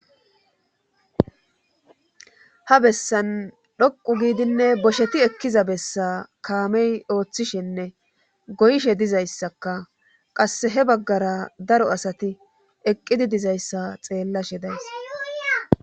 Ta bessan dhoqu giidinne bosheti ekkiza bessa kaamey ooththishenne goyshe dizayssaka qass he baggara daro asati eqqidi dizayssa xeellashe days.